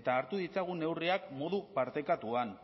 eta hartu ditzagun neurriak modu partekatuan